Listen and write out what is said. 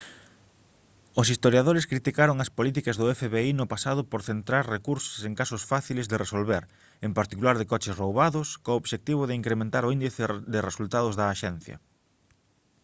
os historiadores criticaron as políticas do fbi no pasado por centrar recursos en casos fáciles de resolver en particular de coches roubados co obxectivo de incrementar o índice de resultados da axencia